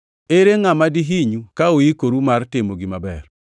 Ere ngʼama dihinyu ka uikoru mar timo gima ber?